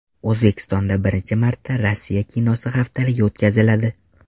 O‘zbekistonda birinchi marta Rossiya kinosi haftaligi o‘tkaziladi.